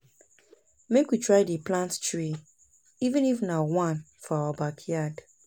mek we try dey plant tree even if na one for our backyard